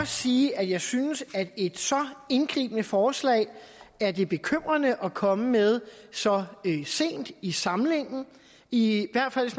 sige at jeg synes at et så indgribende forslag er det bekymrende at komme med så sent i samlingen i hvert fald